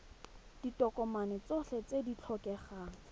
ditokomane tsotlhe tse di tlhokegang